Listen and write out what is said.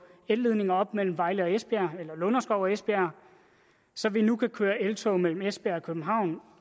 elledninger op mellem vejle og esbjerg eller lunderskov og esbjerg så vi nu kan køre i eltog mellem esbjerg og københavn